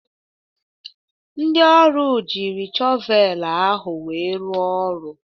Ndị ọrụ jiri shọvel ahụ wee rụ ọrụ.